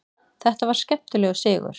Þetta var skemmtilegur sigur.